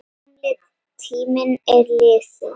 Gamli tíminn er liðinn.